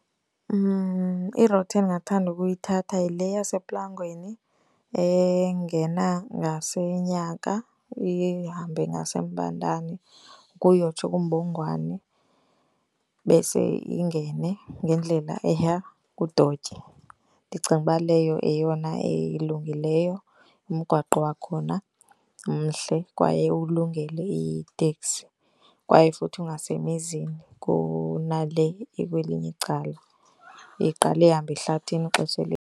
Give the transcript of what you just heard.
I-route endingathanda ukuyithatha yile yasePlangweni engena ngaseNyaka, ihambe ngaseMbandani ukuyotsho kuMbongwani, bese ingene ngendlela eya kuDotya. Ndicinga uba leyo yeyona elungileyo. Umgwaqo wakhona mhle kwaye uwulungele iteksi, kwaye futhi ungasemizini kunale ekwelinye icala eqale ihambe ehlathini ixhesha .